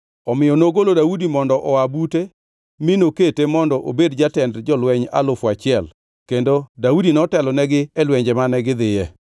Omiyo nogolo Daudi mondo oa bute mi nokete mondo obed jatend jolweny alufu achiel, kendo Daudi notelonegi e lwenje mane gidhiye.